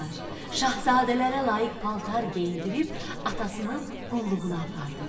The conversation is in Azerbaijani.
Şahzadələrə layiq paltar geyindirib atasının qulluğuna apardılar.